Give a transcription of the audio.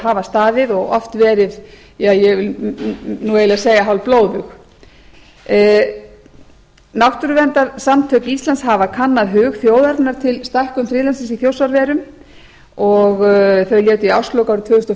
hafa staðið og oft verið eða ég vil nú eiginlega segja hálfblóðug náttúrverndarsamtök íslands hafa kannað hug þjóðarinnar til stækkunar friðlandsins í þjórsárverum og þau létu í árslok árið tvö þúsund og